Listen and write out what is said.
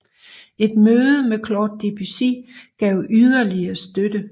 Et møde med Claude Debussy gav yderligere støtte